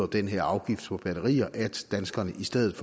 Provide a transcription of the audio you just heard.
den her afgift på batterier betyder at danskerne i stedet